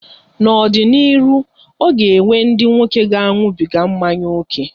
N'ọ dị n'ịrụ, ọ ga-enwe ndị nwoke ga-aṅụbịga mmanya oke.